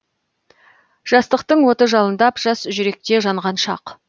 жастықтың оты жалындап жас жүректе жанған шақ